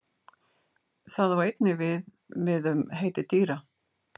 Það á einnig við við um heiti dýra.